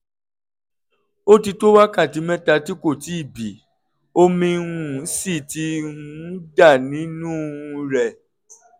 ó ti tó wákàtí mẹ́ta tí kò ti bì omi um sì ti um ń dà nínú um rẹ̀